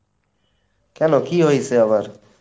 কেনো, কী হইছে আবার?